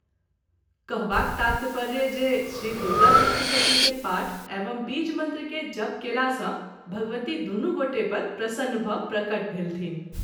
कहबाक तात्पर्य जे श्री दुर्गासप्तशती के पाठ एवं बीज मंत्र के जप कएला सँ भगवती दुनू गोटे पर प्रसन्न भ ‘ प्रगट भेलथिन्ह।